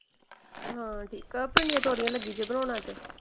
ਹਾਂ ਠੀਕ। ਭਿੰਡੀਆਂ ਤੋਰੀਆਂ ਲਗੀ ਜੇ ਬਣਾਉਣ ਅੱਜ।